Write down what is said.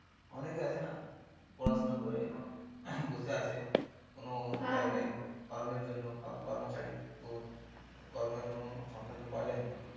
অনেকে আছে না পড়াশুনো করে বসে আছে কোনো জায়গায় কর্মের জন্য কর্ম খালি তো কর্মের কোনো সন্ধান তো পাওয়া যায়নি